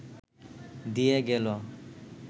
দিয়ে গেল